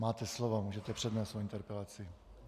Máte slovo, můžete přednést svoji interpelaci.